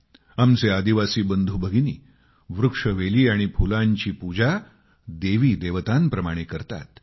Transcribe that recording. आमचे आदिवासी बंधू भगिनी वृक्षवेली आणि फुलांची पूजा देवी देवतांप्रमाणे करतात